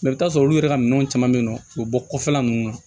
i bi t'a sɔrɔ olu yɛrɛ ka minɛn caman bɛ ye nɔ u bɛ bɔ kɔfɛla ninnu na